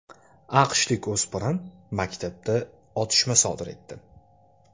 AQShlik o‘spirin maktabda otishma sodir etdi.